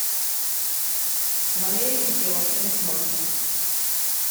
валерий кипелов талисман